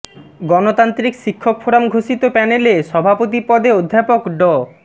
গণতান্ত্রিক শিক্ষক ফোরাম ঘোষিত প্যানেলে সভাপতি পদে অধ্যাপক ড